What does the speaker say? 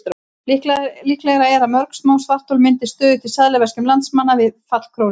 Líklegra er að mörg smá svarthol myndist stöðugt í seðlaveskjum landsmanna við fall krónunnar.